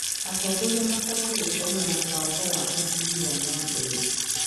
Atongoria mabatiĩ gũkorwo na mũbango wa ũthii wa na mbere.